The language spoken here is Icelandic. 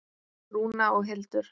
Rúna og Hildur.